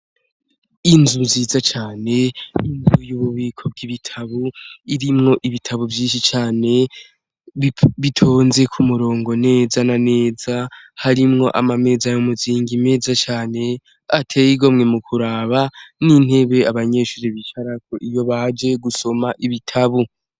Inzu nziza cane, inzu y'ububiko bw'ibitabo, irimwo ibitabo vyinshi cane bitonze ku murongo neza na neza. Harimwo amameza y'umuzingi meza cane ateye igomwe kuraba, n'intebe abanyeshure bicarako iyo baje gusoma ibitabo.